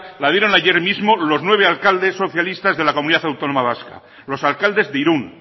la dieron ayer mismo los nueve alcaldes socialistas de la comunidad autónoma vasca los alcaldes de irun